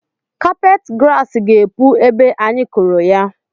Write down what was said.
Kapeti grass ga-epu ebe a anyị kụrụ ya